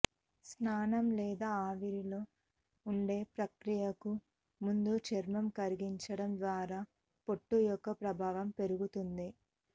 స్నానం లేదా ఆవిరిలో ఉండే ప్రక్రియకు ముందు చర్మం కరిగించడం ద్వారా పొట్టు యొక్క ప్రభావం పెరుగుతుంది